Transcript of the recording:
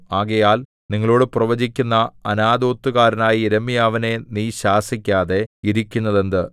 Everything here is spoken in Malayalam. ആകയാൽ നിങ്ങളോടു പ്രവചിക്കുന്ന അനാഥോത്തുകാരനായ യിരെമ്യാവിനെ നീ ശാസിക്കാതെ ഇരിക്കുന്നതെന്ത്